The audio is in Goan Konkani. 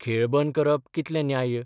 खेळ बंद करप कितलें न्याय्य?